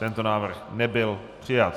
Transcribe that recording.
Tento návrh nebyl přijat.